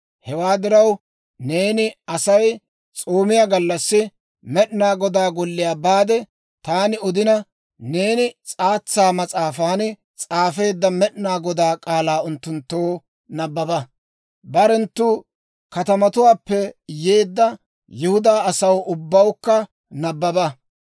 Hewaa diraw, neeni Asay s'oomiyaa gallassi Med'inaa Godaa Golliyaa baade, taani odina, neeni s'aatsa mas'aafan s'aafeedda Med'inaa Godaa k'aalaa unttunttoo nabbaba; barenttu katamatuwaappe yeedda Yihudaa asaw ubbawukka nabbaba.